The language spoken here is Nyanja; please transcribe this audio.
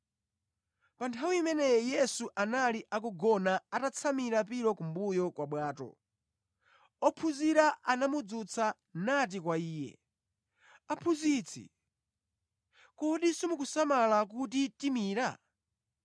Pa nthawi imeneyi Yesu anali akugona atatsamira pilo kumbuyo kwa bwato. Ophunzira anamudzutsa nati kwa Iye, “Aphunzitsi, kodi simukusamala kuti timira?”